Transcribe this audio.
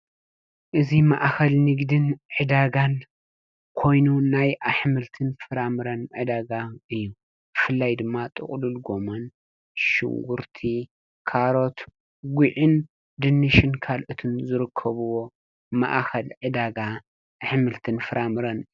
እዚ ማእከል ንግድን ዕዳጋን ኮይኑ ናይ ኣሕምልትን ፍራምረን ዕዳጋ እዩ። ብፍላይ ድማ ጥቅሉል ጎመን፣ ሽጉርቲ፣ ካሮት፣ ጉዕን ፣ድንሽን ካልኦትን ይርከብዎም ማእከል ዕዳጋ ኣሕምልትን ፍራምረን እዩ ።